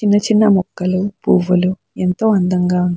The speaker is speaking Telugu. చిన్న చిన్న మొక్కలు పువ్వులు ఎంతో అందంగా --